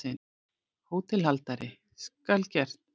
HÓTELHALDARI: Skal gert.